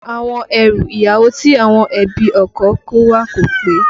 Àwọn ẹrù ìyàwó tí àwọn ẹbí ọkọ kó wá kò pé